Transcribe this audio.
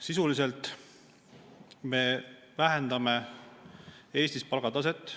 Sisuliselt me vähendame Eestis palgataset.